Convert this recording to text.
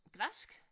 Græsk